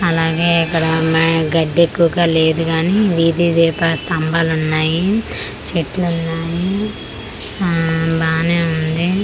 అలాగే ఇక్కడ మే గడ్డి ఎక్కువగ లేదు గాని వీది దీపాల స్థంబాలు ఉన్నాయి చెట్లు ఉన్నాయి ఊమ్ బానే ఉంది.